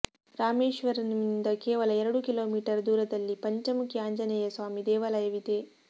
ರಾಮೇಶ್ವರಂ ನಿಂದ ಕೇವಲ ಎರಡು ಕಿಲೋಮೀಟರ್ ದೂರದಲ್ಲಿ ಪಂಚಮುಖಿ ಆಂಜನೇಯ ಸ್ವಾಮಿ ದೇವಾಲಯವಿದೆ